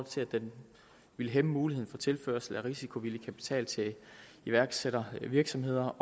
til at den ville hæmme muligheden for tilførsel af risikovillig kapital til iværksættervirksomheder